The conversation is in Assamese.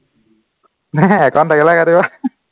নাই account থাকিলেহে কাটিব